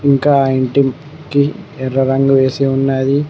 ఇంకా ఆ ఇంటికి ఎర్ర రంగు వేసి ఉన్నాది.